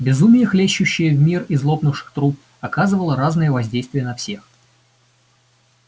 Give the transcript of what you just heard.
безумие хлещущее в мир из лопнувших труб оказывало разное воздействие на всех